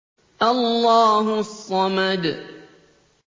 اللَّهُ الصَّمَدُ